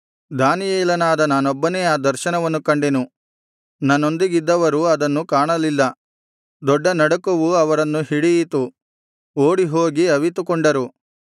ದಾನಿಯೇಲನಾದ ನಾನೊಬ್ಬನೇ ಆ ದರ್ಶನವನ್ನು ಕಂಡೆನು ನನ್ನೊಂದಿಗಿದ್ದವರು ಅದನ್ನು ಕಾಣಲಿಲ್ಲ ದೊಡ್ಡ ನಡುಕವು ಅವರನ್ನು ಹಿಡಿಯಿತು ಓಡಿ ಹೋಗಿ ಅವಿತುಕೊಂಡರು